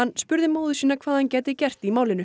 spurði móður sína hvað hann gæti gert í málinu